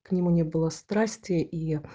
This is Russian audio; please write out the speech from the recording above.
к нему не было страсти и